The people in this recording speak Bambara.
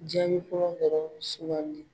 Jaabi fɔlɔ dɔrɔnw sugandi.